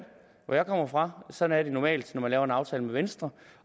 hvor jeg kommer fra sådan er det normalt når man laver en aftale med venstre